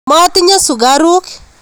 Matinye sukaruk